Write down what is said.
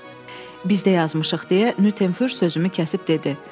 "Biz də yazmışıq" deyə Nyuternfür sözümü kəsib dedi.